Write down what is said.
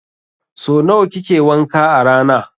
So nawa kike wanka a rana?